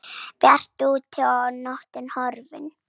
Bjart úti og nóttin horfin.